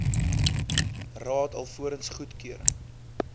raad alvorens goedkeuring